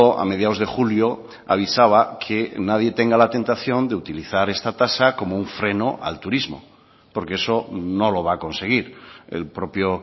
a mediados de julio avisaba que nadie tenga la tentación de utilizar esta tasa como un freno al turismo porque eso no lo va a conseguir el propio